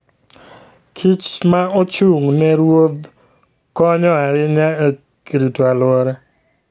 kich ma ochung' ne ruodh konyo ahinya e rito alwora.